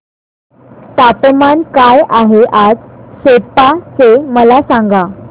तापमान काय आहे आज सेप्पा चे मला सांगा